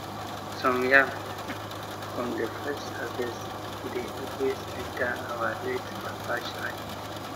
some yam um from de first harvest de always enter our late papa shrine